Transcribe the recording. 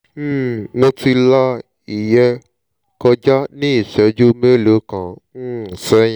um mo ti la ìyẹn kọjá ní ìṣẹ́jú mélòó kan um sẹ́yìn